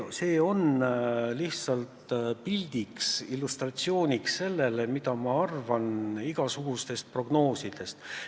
See on lihtsalt illustratsiooniks sellele, mida ma arvan igasugustest prognoosidest.